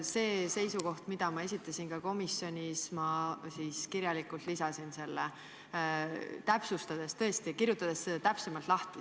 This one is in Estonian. Selle seisukoha, mille ma komisjonis esitasin, lisasin protokolli kirjalikult, kirjutades selle täpsemalt lahti.